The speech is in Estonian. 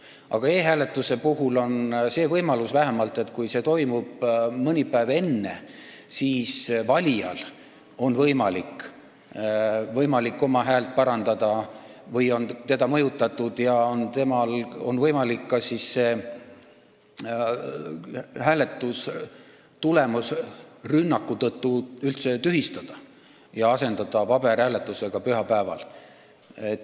Aga e-hääletuse puhul on vähemalt võimalus, et kui see toimub mõni päev enne, siis on valijal võimalik oma häält uuesti anda, kui teda on mõjutatud, ning rünnaku tõttu on võimalik hääletustulemus üldse tühistada ja asendada paberhääletusega pühapäeval.